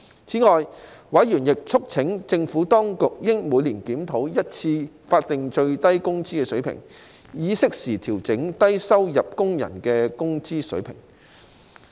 此外，委員促請政府當局應每年檢討一次法定最低工資水平，以適時調整低收入工人的工資水平。